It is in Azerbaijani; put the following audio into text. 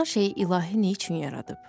Filan şeyi ilahi neyçün yaradıb?